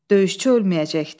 Döyüşçü ölməyəcəkdi.